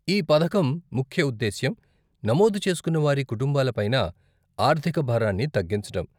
ఈ పథకం ముఖ్య ఉద్దేశ్యం నమోదు చేసుకున్న వారి కుటుంబాల పైన ఆర్థిక భారాన్ని తగ్గించటం.